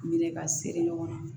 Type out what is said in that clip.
Minɛ ka seri ɲɔgɔn ma